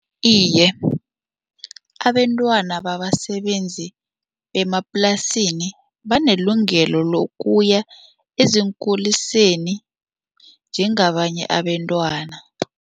Iye, abentwana babasebenzi emaplasini banelungelo lokuya ezinkuliseni njengabanye abentwana.